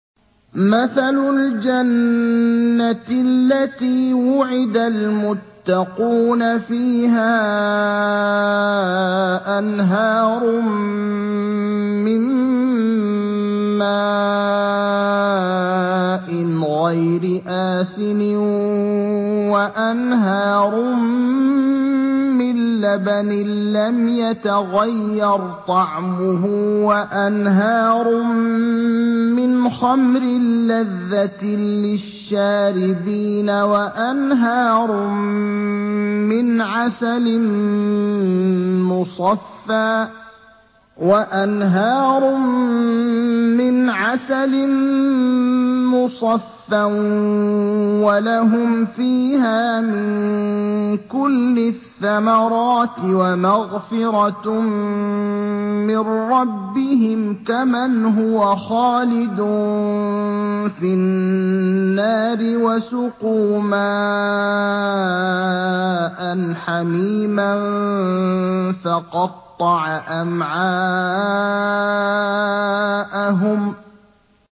مَّثَلُ الْجَنَّةِ الَّتِي وُعِدَ الْمُتَّقُونَ ۖ فِيهَا أَنْهَارٌ مِّن مَّاءٍ غَيْرِ آسِنٍ وَأَنْهَارٌ مِّن لَّبَنٍ لَّمْ يَتَغَيَّرْ طَعْمُهُ وَأَنْهَارٌ مِّنْ خَمْرٍ لَّذَّةٍ لِّلشَّارِبِينَ وَأَنْهَارٌ مِّنْ عَسَلٍ مُّصَفًّى ۖ وَلَهُمْ فِيهَا مِن كُلِّ الثَّمَرَاتِ وَمَغْفِرَةٌ مِّن رَّبِّهِمْ ۖ كَمَنْ هُوَ خَالِدٌ فِي النَّارِ وَسُقُوا مَاءً حَمِيمًا فَقَطَّعَ أَمْعَاءَهُمْ